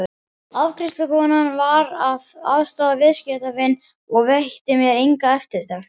Afgreiðslukonan var að aðstoða viðskiptavin og veitti mér enga eftirtekt.